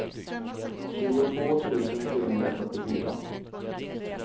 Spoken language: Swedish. tjugotvå tusen trehundrafyrtiofyra